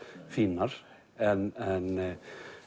fínar en